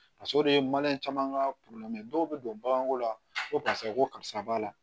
Faso de ye maliyɛn caman ka dɔw bɛ don baganko la ko karisa ko karisa b'a la